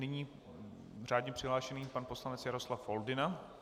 Nyní řádně přihlášený pan poslanec Jaroslav Foldyna.